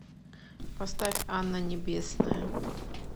поставь анна небесная